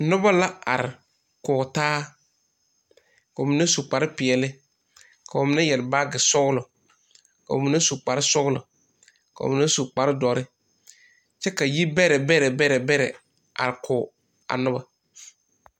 Noba la are kɔge taa ka ba mine su kparpeɛle ka ba mine yɛre baagesɔgla ka ba mine su kparsɔgla ka ba.mine su kpardɔre kyɛ ka yibɛrɛ bɛrɛ bɛrɛ are kɔge a noba.